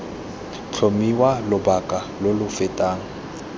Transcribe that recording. tlhomiwa lobaka lo lo fetang